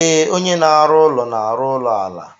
Ee, onye na-arụ ụlọ na-arụ ụlọ ala.